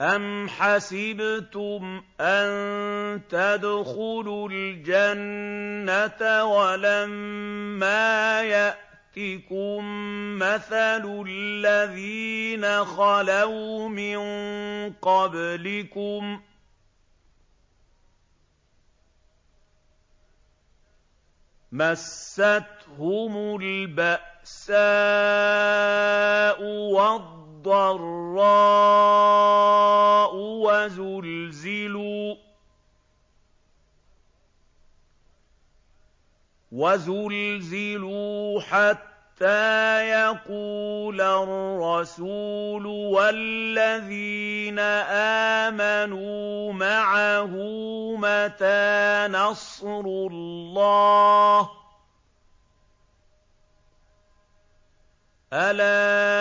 أَمْ حَسِبْتُمْ أَن تَدْخُلُوا الْجَنَّةَ وَلَمَّا يَأْتِكُم مَّثَلُ الَّذِينَ خَلَوْا مِن قَبْلِكُم ۖ مَّسَّتْهُمُ الْبَأْسَاءُ وَالضَّرَّاءُ وَزُلْزِلُوا حَتَّىٰ يَقُولَ الرَّسُولُ وَالَّذِينَ آمَنُوا مَعَهُ مَتَىٰ نَصْرُ اللَّهِ ۗ أَلَا